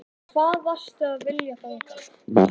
Og hvað varstu að vilja þangað?